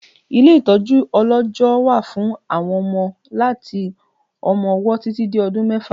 Ilé ìtọjú ọlọjọ wà fún àwọn ọmọ láti ọmọ-ọwọ títì dé ọdún mẹ́fà